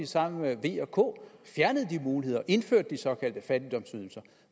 sammen med v og k fjernede de muligheder og indførte de såkaldte fattigdomsydelser